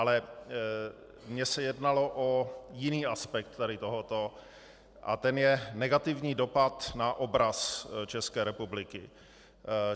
Ale mně se jednalo o jiný aspekt tady tohoto a tím je negativní dopad na obraz České republiky.